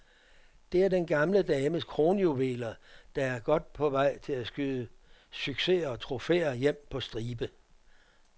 Det er den gamle dames kronjuveler, der er godt på vej til at skyde succeser og trofæer hjem på stribe.